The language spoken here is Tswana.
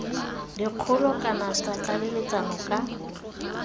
dikgolo kana tsa tlaleletso ka